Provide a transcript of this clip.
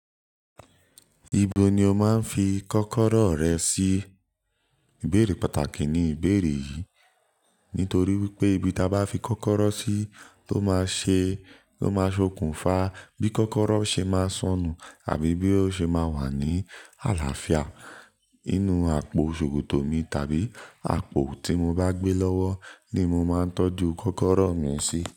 Ibo ni o máa ń fi kọ́kọ́rọ́ rẹ sí? Ìbéèrè pàtàkì ni ìbéèrè yìí. Nítorí wípé ibi ta bá fi kọ́kọ́rọ́ sí ló máa ṣe, ló máa ṣokùnfà bí kọ́kọ́rọ́ ṣe máa sọnù àbí bí ó ṣe máa wà ní àlàáfíà. Inú àpò ṣòkòtò mi tàbí àpò tí mo bá gbé lọ́wọ́ ni mo máa ń tọ́jú kọ́kọ́rọ́ mi sí.